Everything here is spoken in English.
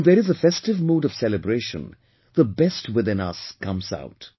And when there is a festive mood of celebration, the best within us comes out